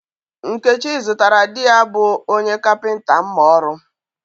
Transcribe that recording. Nkechi zụtara di ya bụ onye kapịnta mma ọrụ